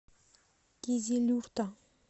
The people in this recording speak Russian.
кизилюрта